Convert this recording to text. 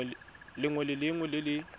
lengwe le lengwe le le